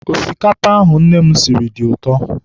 Osikapa ahụ nne m siri dị ụtọ.